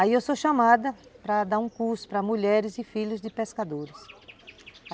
Aí eu sou chamada para dar um curso para mulheres e filhos de pescadores.